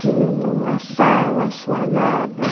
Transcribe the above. Tinha uma sala assoalhada.